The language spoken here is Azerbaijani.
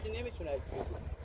Yox, kimsə çəkiliş eləyə bilməz.